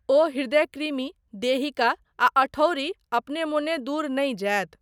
ओ हृदयकृमि, देहिका आ अठौरी अपने मोने दूर नहि जायत।